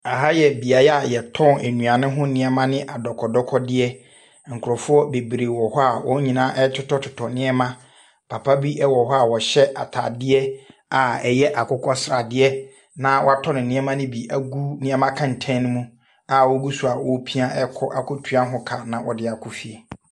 Ha yɛ beaeɛ a wɔtɔn nnuane ho nneɛma ne adɔkɔdɔkɔdeɛ. Nkurɔfoɔ bebree wɔ hɔ a wɔn nyinaa retotɔ nneɛma. Papa bi wɔ hɔ a ɔhyɛ atadeɛ a ɛyɛ akokɔ sradeɛ, na watɔ ne nneɛma no bi agu nneɛma kɛntene mu a ɔgu so a ɔrepia akɔ akɔtua ho ka na ɔde akɔ fie.